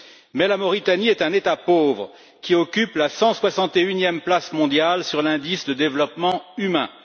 Cependant, la Mauritanie est un État pauvre, qui occupe la 161e place mondiale sur l'indice de développement humain.